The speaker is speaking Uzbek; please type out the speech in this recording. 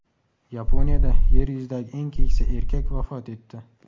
Yaponiyada Yer yuzidagi eng keksa erkak vafot etdi.